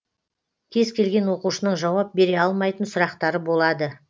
кез келген оқушының жауап бере алмайтын сұрақтары болады